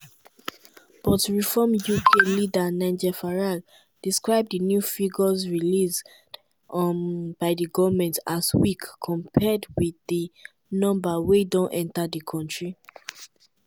but reform uk leader nigel farage describe di new figures released um by di goment as weak compared wit di numbers wey don enta di kontri.